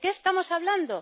¿De qué estamos hablando?